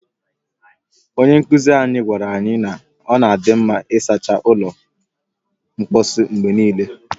Onye nkuzi anyị gwaara anyị na ọ na adị mma ịsacha ụlọ mposi mgbe niile